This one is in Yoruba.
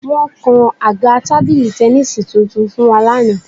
Wọ́n kan àga tábìlì tẹníìsì tuntun fún wa lánàá